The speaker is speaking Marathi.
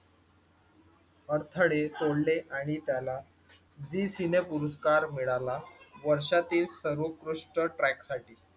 अडथडे सोडले आणि त्याला झी सिने पुरस्कार मिळाला वर्षातील सर्वोत्कृष्ट ट्रॅक साठी